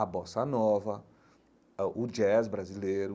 A bossa nova, ãh o jazz brasileiro,